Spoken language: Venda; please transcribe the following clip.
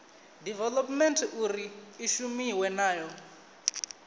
development uri i shumiwe nayo